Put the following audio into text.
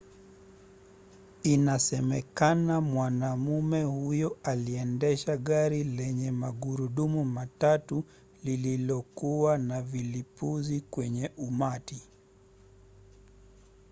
inasemekana mwanamume huyo aliendesha gari lenye magurudumu matatu lililokuwa na vilipuzi kwenye umati